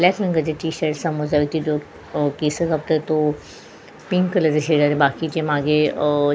याच रंगाचे T shirt केस कापत तो पिंक कलरच्या शेजारी बाकीची मागे अ --